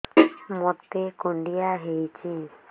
ମୋତେ କୁଣ୍ଡିଆ ହେଇଚି